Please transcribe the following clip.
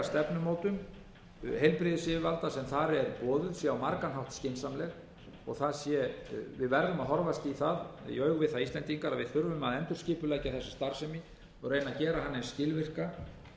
stefnumótun heilbrigðisyfirvalda sem þar er boðuð sé á margan hátt skynsamleg við íslendingar verðum að horfast í augu við það að við þurfum að endurskipuleggja þessa starfsemi og reyna að gera hana eins skilvirka